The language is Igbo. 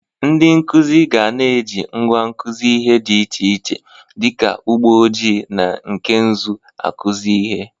Ndị nkụzị ga na-eji ngwa nkụzị ihe dị iche iche dị ka ụgbọ ojii na nke nzụ akụzị ihe.